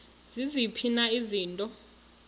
ziziphi na izinto